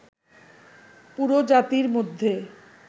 পুরো জাতির মধ্যে